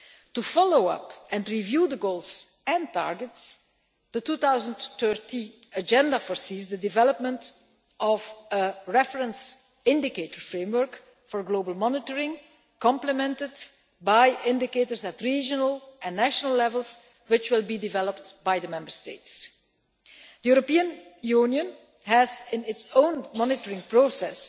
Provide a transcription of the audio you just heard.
To follow up and review the goals and targets, the 2030 Agenda foresees the development of a reference indicator framework for global monitoring, complemented by indicators at regional and national levels, which will be developed by the Member States. The European Union has its own monitoring process.